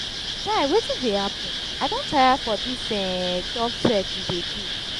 guy wetin dey happen? i don tire for dis um job search we dey do